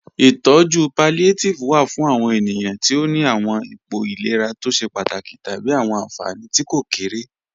Itọju pallíátívẹ̀ wà fún àwọn ènìyàn tí ó ní àwọn ìpọ̀ ìlẹ̀rà tó ṣẹ̀ pátákì tábí àwọn ànfánì tí kò kéré